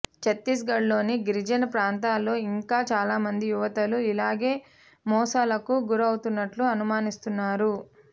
ఛత్తీస్గఢ్లోని గిరిజన ప్రాంతాల్లో ఇంకా చాలామంది యువతులు ఇలాగే మోసాలకు గురవుతున్నట్లు అనుమానిస్తున్నారు